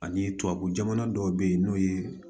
Ani tubabu jamana dɔw be yen n'o ye